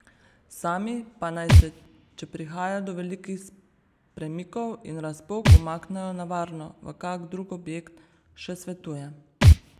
Sami pa naj se, če prihaja do velikih premikov in razpok, umaknejo na varno v kak drug objekt, še svetuje.